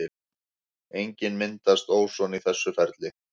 Einnig myndast óson í þessu ferli.